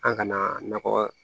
An kana na nɔgɔ